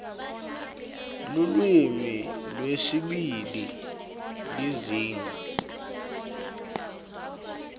lulwimi lwesibili lizinga